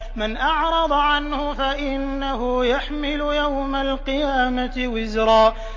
مَّنْ أَعْرَضَ عَنْهُ فَإِنَّهُ يَحْمِلُ يَوْمَ الْقِيَامَةِ وِزْرًا